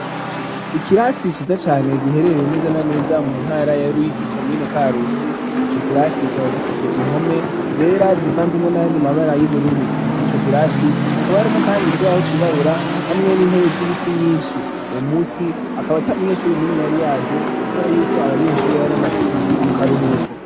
Ikirasi ciza cane giherereye neza na neza mu ntara ya Ruyigi, komine Karusi, ico kirasi kikaba gifise impome zera zivanzemwo n'ayandi mabara y'ubururu. Muri ico kirasi hakaba harimwo kandi ikibaho cirabura, hamwe n'intebe z'ibiti nyinshi. Uwo musi, akaba ata munyeshure n'umwe yari yaje, kubera yuko abanyeshure bari bamaze indwi mu karuhuko.